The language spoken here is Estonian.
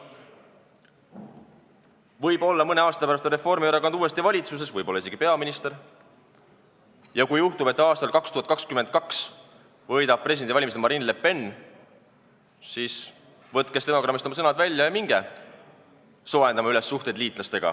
Võib-olla mõne aasta pärast on Reformierakond uuesti valitsuses, võib-olla on isegi peaminister Reformierakonnast, ja kui juhtub, et aastal 2022 võidab presidendivalimised Marine Le Pen, siis võtke stenogrammist oma sõnad välja ja minge suhteid liitlastega üles soojendama!